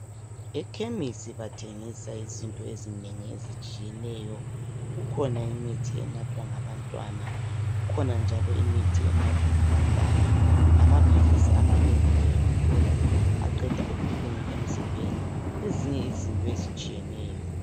Ekhemisi bathengisa izinto ezinengi ezitshiyeneyo. Kukhona imithi enathwa ngabantwana kukhona njalo imithi enathwa ngabadala. Lamaphilisi amanengi uyawathola, aqeda ubuhlungu emzimbeni lezinye izinto ezitshiyeneyo.